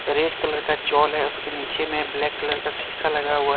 Red colour का चोल है उसके नीचे में ब्लैक कलर का शीशा लगा हुआ है।